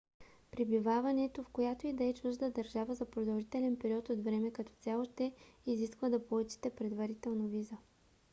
пребиваването в която и да е чужда държава за продължителен период от време като цяло ще изисква да получите предварително виза